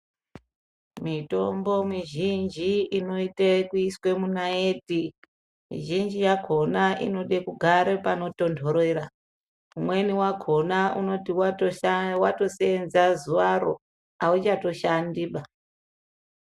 Mitombo mizhinji inoite kuiswe munaiti zhinji yakhona inode kugare panotonhorera umweni wakhona unoti watoseenza zuwaro auchatoshandiba.